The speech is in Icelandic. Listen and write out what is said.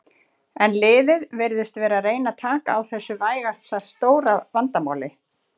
En liðið virðist vera að reyna taka á þessu vægast sagt stóra vandamáli.